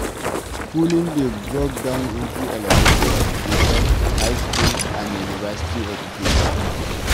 Schooling dey broken down into elementry education, high school and University education